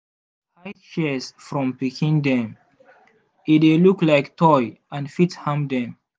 hide shears from pikin dem e dey look like toy and fit harm dem.